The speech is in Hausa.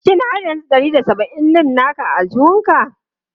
Shin har yanzu ɗari da saba'in ɗin naka a aljihunka?